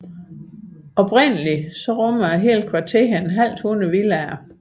Oprindeligt rummede hele kvarteret et halvt hundrede villaer